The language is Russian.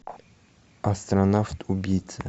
астронавт убийца